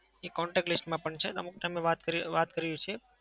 એ contact list માં પણ છે. ને અમુક time એ વાત કરીએ વાત કરીએ છીએ.